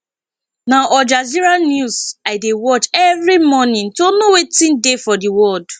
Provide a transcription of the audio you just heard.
na al jazeera news i dey watch every morning to know wetin dey for di world